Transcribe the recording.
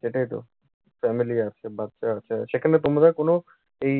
সেটাই তো। family আছে, বাচ্চা আছে। সেখানে তোমরা কোনো এই